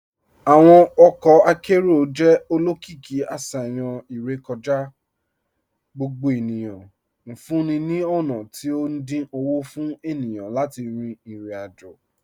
Awọn ọkọ akẹrọ̀ jẹ́ olókììkí àṣayàn irèkọ̀já gbogbo ènìyàn, nfúǹní ní ọ̀na tí o dín ọwọ́ fún ènìyàn láti rin irò-ajò.